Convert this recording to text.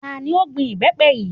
Tani ó gbin ìbẹ́pẹ yìí?